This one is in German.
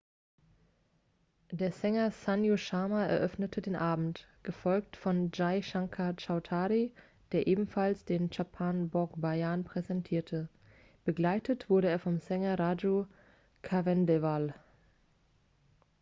der sänger sanju sharma eröffnete den abend gefolgt von jai shankar choudhary der ebenfalls den chhappan bhog bhajan präsentierte begleitet wurde er vom sänger raju khandelwal